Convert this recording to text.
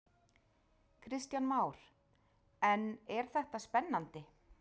Kristján Már: En er þetta spennandi?